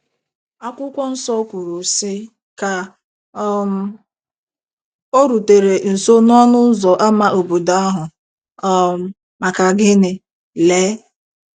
Akwụkwọ nsọ kwuru, sị: “ Ka um o rutere nso n’ọnụ ụzọ ámá obodo ahụ um, maka gịnị, lee!